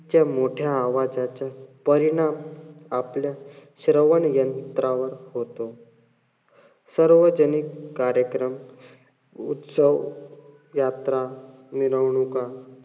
च्या मोठ्या आवाजाच्या परिणाम आपल्या श्रवण यंत्रावर होतो. सर्वजनिक कार्यक्रम उत्सव, यात्रा, मिरवणूका,